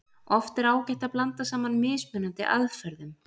Oft er ágætt að blanda saman mismunandi aðferðum.